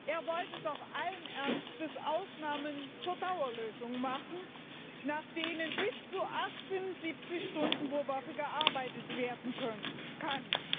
Er wollte doch allen Ernstes Ausnahmen zur Dauerlösung machen, nach denen bis zu 78 Stunden pro Woche gearbeitet werden kann.